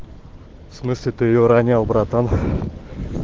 в смысле ты её ронял братан